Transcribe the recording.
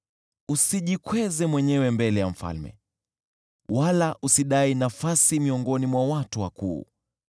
Usijikweze mwenyewe mbele ya mfalme, wala usidai nafasi miongoni mwa watu wakuu;